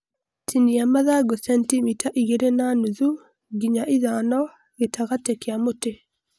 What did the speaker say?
Tinia mathangũ centimita igere na nuthu nginya ithanogĩtagatĩ kĩa mũtĩ